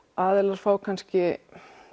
aðilar fá kannski